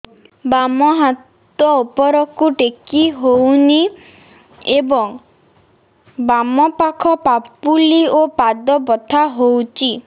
ବାମ ହାତ ଉପରକୁ ଟେକି ହଉନି ଏବଂ ବାମ ପାଖ ପାପୁଲି ଓ ପାଦ ବଥା ହଉଚି